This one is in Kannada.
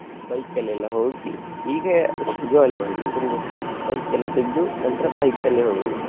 bike ಅಲ್ಲಿ ಎಲ್ಲ ಹೋಗಿ ಈಗ jolly ಮಾಡುವುದು ಈಗ ಒಂದು bike ಎಲ್ಲ ತೆಗ್ದು ನಂತ್ರ bike ಅಲ್ಲೇ ಹೋಗುದು.